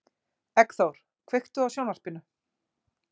Eggþór, kveiktu á sjónvarpinu.